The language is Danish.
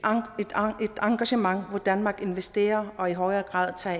engagement hvor danmark investerer og i højere grad tager